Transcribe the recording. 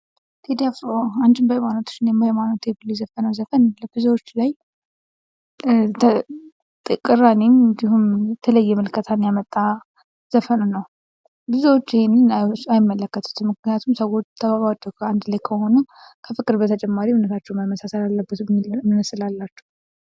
"ቴድ አፍሮ ፦አንቺም በሃይማኖትሽ ፣እኔም በሃይማኖት ብሎ የዘፈነው ዘፈን ለብዙዎች ላይ ቅራኔም ቢሆን የተለየም ምልከታ ያመጣ ዘፈን ነው ብዙዎች ይህየን አይመለከቱም ምክንያቱም ሰዎች ተዋደው አንድላይ ከሆኑ ከፍቅር ቤተጨማሪ እምነታቸው መመሳሰል አለበት የሚል እሳቤ ስላላቸው"